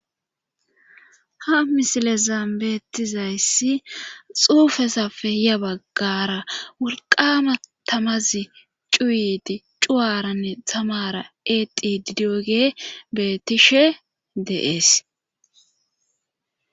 Ha misile zaambeetizayssi xuufesafe hiya baggara wulqama tamazi cuuyidi cuwaranne tamara eqi didioge betishe deees.